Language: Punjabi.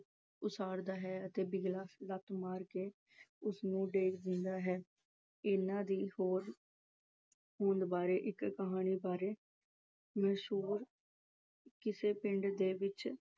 ਉਸਾਰਦਾ ਹੈ ਅਤੇ ਬਿਗਲਾ ਲੱਤ ਮਾਰ ਕੇ ਉਸ ਨੂੰ ਢਾਹ ਦਿੰਦਾ ਹੈ। ਇਹਨਾਂ ਦੇ ਹੋਂਦ ਅਹ ਹੋਂਦ ਬਾਰੇ ਇੱਕ ਕਹਾਣੀ ਬਾਰੇ ਕਿਸੇ ਪਿੰਡ ਦੇ ਵਿੱਚ